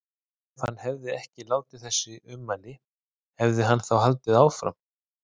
Ef hann hefði ekki látið þessi ummæli, hefði hann þá haldið áfram?